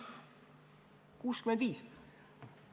65!